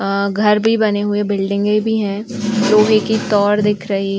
अ घर भी बने हुए। बिल्डिंगे भी हैं। लोहे की तार दिख रही --